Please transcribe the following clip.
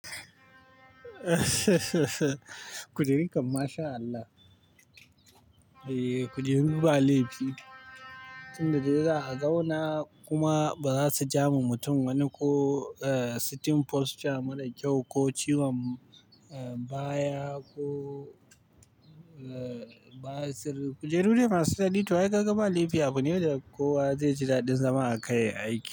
Kujerun kan, masha Allah. Eh, kujeru ba laifi. Tun da dai za a zauna kuma ba za su ja ma mutum wani ko sitting posture mara kyau ko ciwon baya ko ba sirri. Kujeru dai ma su daɗi to, ai ka ga ba laifi. Abu ne da kowa zai ji daɗin zama a kai aiki.